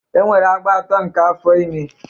E nwere agba atọ nke afọ ime.